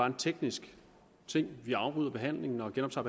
en teknisk ting vi afbryder behandlingen og genoptager